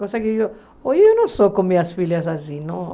Hoje eu não sou com minhas filhas assim.